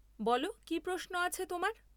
বলো, কী প্রশ্ন আছে তোমার?